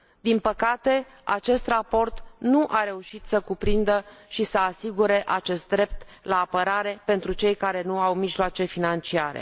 Din păcate, acest raport nu a reușit să cuprindă și să asigure acest drept la apărare pentru cei care nu au mijloace financiare.